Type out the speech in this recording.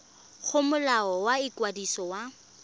go molao wa ikwadiso wa